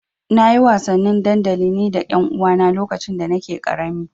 Na yi wasannin dandali ni da ƴanuwana lokacin da nake ƙarami.